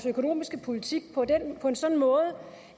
økonomiske politik på en sådan måde